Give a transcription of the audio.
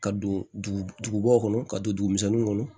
Ka don dugubaw kɔnɔ ka don dugumisɛnninw kɔnɔ